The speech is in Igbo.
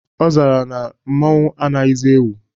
Ọ zara ya na mmanwụ anaghizi ewu.